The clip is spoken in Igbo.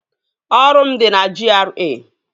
Ọrụ m dị na GRA